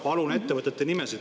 Palun ettevõtete nimesid!